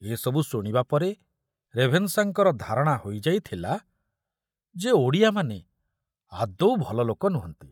ଏ ସବୁ ଶୁଣିବା ପରେ ରେଭେନଶାଙ୍କର ଧାରଣା ହୋଇଯାଇଥିଲା ଯେ ଓଡ଼ିଆମାନେ ଆଦୌ ଭଲ ଲୋକ ନୁହନ୍ତି!